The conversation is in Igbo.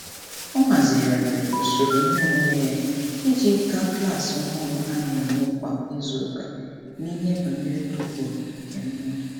Ọ ahazigharịrị usoro iheomume ya iji ga klaasị ọhụrụ a na-enwe kwa izuụka n’ihe banyere ụkpụrụ nke mmụọ.